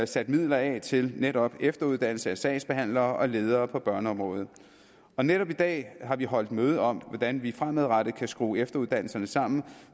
sat midler af til netop efteruddannelse af sagsbehandlere og ledere på børneområdet og netop i dag har vi holdt møde om hvordan vi fremadrettet kan skrue efteruddannelserne sammen